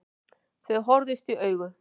Þau horfðust í augu.